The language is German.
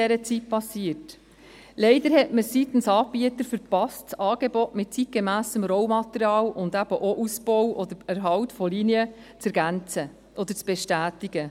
– Leider verpasste man es seitens der Anbieter, das Angebot mit zeitgemässem Rollmaterial und eben auch mit dem Ausbau und dem Erhalt von Linien zu ergänzen oder zu bestätigen.